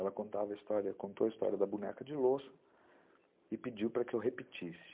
Ela contava, contou a história da boneca de louça e pediu para que eu repetisse.